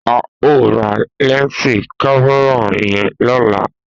A o ra lẹnsi kámẹ́rà yan lọla